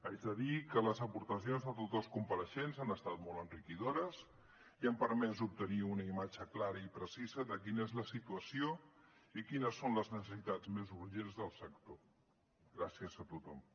haig de dir que les aportacions de tots els compareixents han estat molt enriquidores i han permès obtenir una imatge clara i precisa de quina és la situació i quines són les necessitats més urgents del sector gràcies a tothom